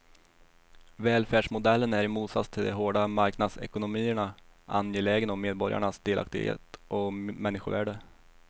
Välfärdsmodellen är i motsats till de hårda marknadsekonomierna angelägen om medborgarnas delaktighet och människovärde.